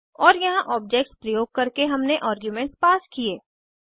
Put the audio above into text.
और यहाँ ऑब्जेक्ट्स प्रयोग करके हमने आर्ग्यूमेंट्स पास किये